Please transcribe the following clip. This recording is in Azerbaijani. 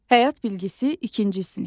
Həyat bilgisi, ikinci sinif.